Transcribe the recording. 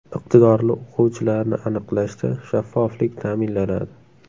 Iqtidorli o‘quvchilarni aniqlashda shaffoflik ta’minlanadi.